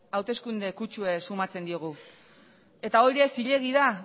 hauteskunde kutsua somatzen diogu eta hori ere zilegi da